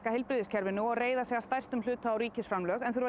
heilbrigðiskerfinu og reiða sig að stærstum hluta á ríkisframlög en þurfa